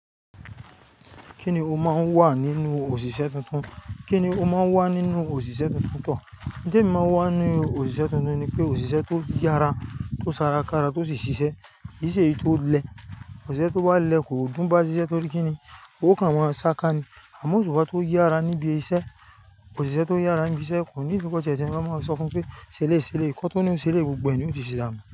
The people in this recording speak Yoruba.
Kíni ó máa ń wà nínú òṣìṣẹ́ tuntun? Kíni ó máa ń wà nínú òṣìṣẹ́ tuntuntan? Ǹjẹ́ èmi máa ń wà nínú òṣìṣẹ́ tuntun ni wipé òṣìṣẹ́ tó yára, tó sara kára, tó sì ṣiṣẹ́. Kì í ṣe èyí tó lẹ. Òṣìṣẹ́ tó bá lẹ kò dùn bá ṣiṣẹ́ torí kí ni? Ó kàn maa ṣá ká ni. Àmọ́ òṣùpá tó yára níbi iṣẹ́, òṣìṣẹ́ tó yára níbi iṣẹ́ kò níidi kó sẹsẹ, lo máa ń sọ fún pé ṣẹlẹ̀yi ṣẹlẹ̀yi, kan t'ó ní ó ń ṣẹlẹ̀yi gbogbo ẹ̀ ni yoo ti ṣe dánú.